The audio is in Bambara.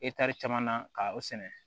caman na ka o sɛnɛ